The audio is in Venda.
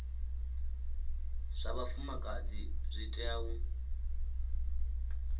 zwa vhafumakadzi zwi tea u